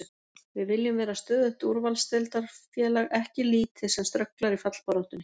Við viljum vera stöðugt úrvalsdeildarfélag, ekki lið sem strögglar í fallbaráttunni.